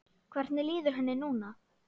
Hvernig líður henni núna?